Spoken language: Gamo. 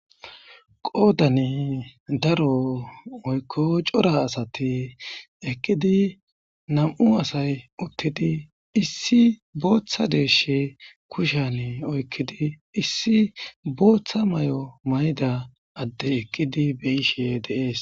qoodane daro oykko cora asati ekqidi nam7u asay uttidi issi booththa deeshe kushane oykkidi issi booththa may7o mayda adde ekqidi beyishe deees